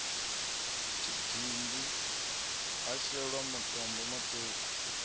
tshidindi ha shelwa matombo maṱuku